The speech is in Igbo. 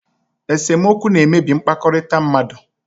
Esemokwu na-emebi mkpakọrịta mmadụ.